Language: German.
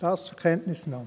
Dies zur Kenntnisnahme.